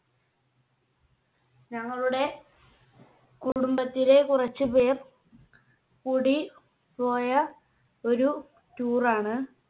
ഞങ്ങളുടെ കുടുംബത്തിലെ കുറച്ച് പേർ കൂടി പോയ ഒരു Tour ണ്.